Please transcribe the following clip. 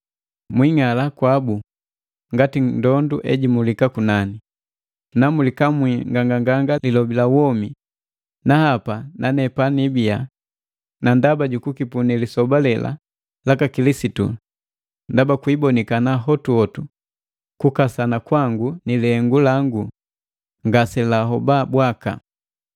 namulikamwi nganganganga lilobi la womi, na hapa nane panibiya na ndaba jukipunii lisoba lela laka Kilisitu, ndaba kwiibonikana hotuhotu kukasana kwangu nilihengu langu ngaselahoba bwaka.